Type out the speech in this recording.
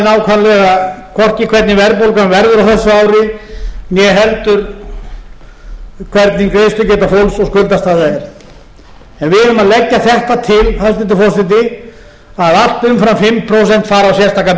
nákvæmlega hvorki hvernig verðbólgan verður á þessu ári néheldur hvernig greiðslugeta fólks og skuldastaða er við erum að leggja þetta til hæstvirtur forseti að allt umfram fimm prósent fari á sérstakan biðreikning og bíði